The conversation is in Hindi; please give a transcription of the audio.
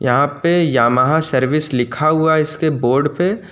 यहां पे यामाहा सर्विस लिखा हुआ इसके बोर्ड पे।